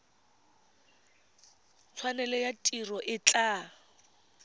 tshwanelo ya tiro e tla